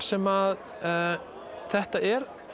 sem þetta er